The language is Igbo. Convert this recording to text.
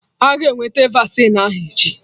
Aga eweta vaccine ahụ echi